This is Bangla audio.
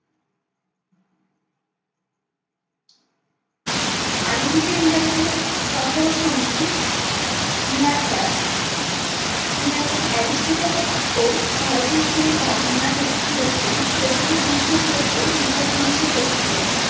আলেকজেন্ডারদের সফর সঙ্গী নিয়ারকার, নিয়ারকার এরিস্টটল ও ভারতের যে বর্ণনা রেখে গিয়েছিলেন সেগুলো বিশ্বাসযোগ্য মেঘাথিনীশের রচিত।